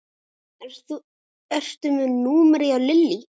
Ertu með númerið hjá Lillý?